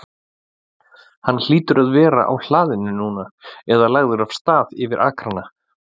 Hann hlýtur að vera á hlaðinu núna- eða lagður af stað yfir akrana.